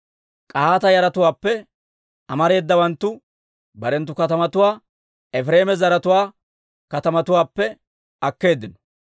K'ahaata yaratuwaappe amareedawanttu barenttu katamatuwaa Efireema zaratuwaa katamatuwaappe akkeeddino.